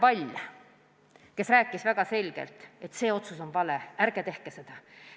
Kohal oli ka Katre Pall, kes rääkis väga selgelt, et see otsus on vale, ärge tehke seda.